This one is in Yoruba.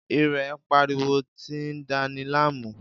Irè ń pariwo tí ń dani láàmú